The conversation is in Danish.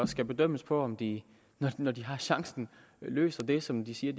skal bedømmes på om de når de har chancen løser det som de siger